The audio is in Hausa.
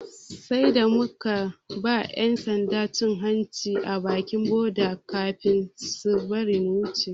Sai da muka ba 'yan sanda cin hanci a bakin boda kafin suka bari muka wuce.